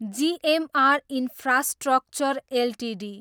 GMR infrastructure Ltd